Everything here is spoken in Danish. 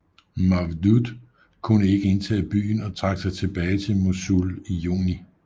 Mawdud kunne ikke indtage byen og trak sig tilbage til Mosul i juni